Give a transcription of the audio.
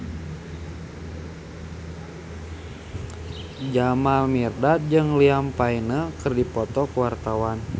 Jamal Mirdad jeung Liam Payne keur dipoto ku wartawan